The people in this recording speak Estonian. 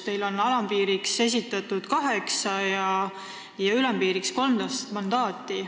Teil on alampiiriks esitatud kaheksa ja ülempiiriks 13 mandaati.